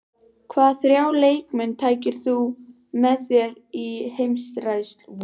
Hvaða þrjá leikmenn tækir þú með þér í heimsreisu?